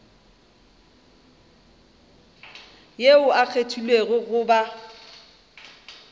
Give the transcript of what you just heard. yo a kgethilwego go ba